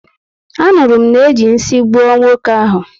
Anụrụ m na-eji nsị nyegbuo nwoke ahụ.